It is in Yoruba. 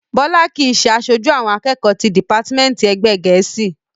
Bọ́lá kìí ṣe aṣojú àwọn akẹ́kọ̀ọ́ ti dìpátímẹ́ǹtì èdè gẹ̀ẹ́sì